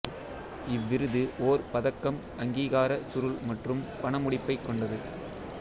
இவ்விருது ஓர் பதக்கம் அங்கீகார சுருள் மற்றும் பணமுடிப்பைக் கொண்டது